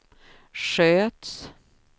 sköts